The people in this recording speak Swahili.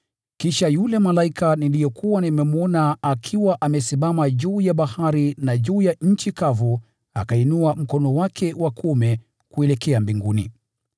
Kisha yule malaika niliyekuwa nimemwona akiwa amesimama juu ya bahari na juu ya nchi akainua mkono wake wa kuume kuelekea mbinguni.